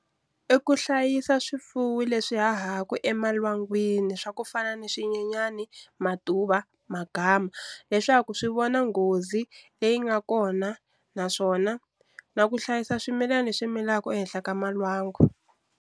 I ku hlayisa swifuwi leswi hahaku emalwangwini swa ku fana ni swinyenyani, matuva, magama leswaku swi vona nghozi leyi nga kona naswona na ku hlayisa swimilani leswi milaku ehenhla ka malwangu.